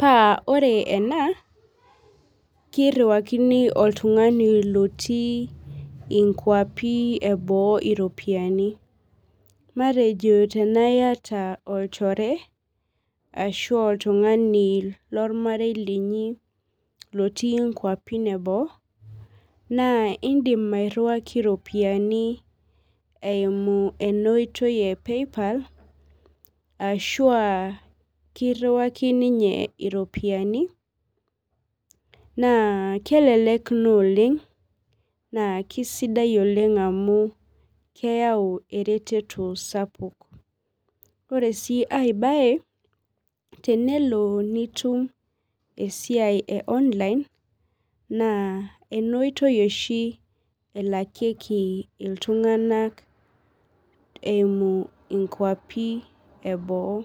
pa ore ena kiriwakini oltungani otii nkwapi eboo iropiyiani matejo tanaa iyata olchoreashu oltungani lormarei linyi lotii kwapi eboo na indim airiwaki iropiyiani esiai epaypal ashu a kiriwaki ninye iropiyiani na kelelek oleng na kisidai oleng amu keyau eretoto sapuk ore si aai bae na tenelo nitum esiai e online na enootoi oshi elakieki ltunganak eimu nkwapi eboo.